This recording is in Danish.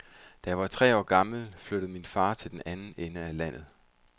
Da jeg var tre år gammel, flyttede min far til den anden ende af landet.